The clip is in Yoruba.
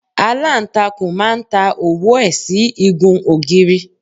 Aláǹtakùn má ń ta òwú ẹ̀ sí igun ògiri.